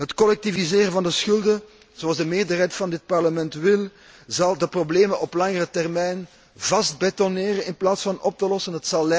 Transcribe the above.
Het collectiviseren van de schulden, zoals de meerderheid van dit Parlement wil, zal de problemen op langere termijn vast betonneren in plaats van oplossen.